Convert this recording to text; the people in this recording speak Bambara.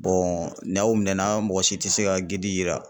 n'aw minɛnna mɔgɔ si tɛ se ka yira.